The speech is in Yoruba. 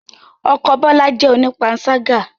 Ọkọ Bola jẹ́ onipansaga